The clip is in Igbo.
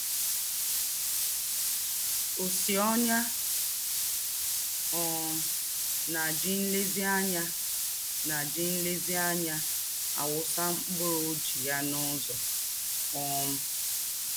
Ōsị́ ọ́nyà um nà-jí nlèzíànyá nà-jí nlèzíànyá àwụ́sà mkpúrù ọ́jị̀ghà n’ứzọ̀. um